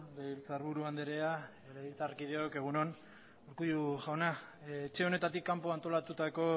legebiltzarburu andrea legebiltzarkideok egun on urkullu jauna etxe honetatik kanpo antolatutako